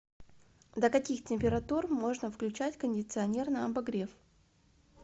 до каких температур можно включать кондиционер на обогрев